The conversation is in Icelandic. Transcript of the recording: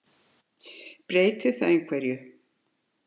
Breytir það einhverju?